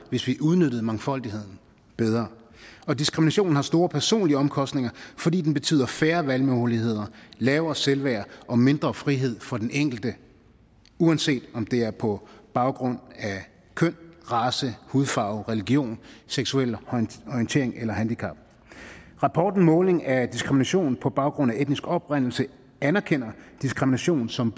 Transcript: hvis vi udnyttede mangfoldigheden bedre og diskriminationen har store personlige omkostninger fordi den betyder færre valgmuligheder lavere selvværd og mindre frihed for den enkelte uanset om det er på baggrund af køn race hudfarve religion seksuel orientering eller handicap rapporten måling af diskrimination på baggrund af etnisk oprindelse anerkender diskrimination som